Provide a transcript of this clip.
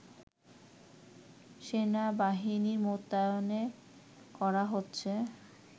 সেনাবাহিনী মোতায়েন করা হচ্ছে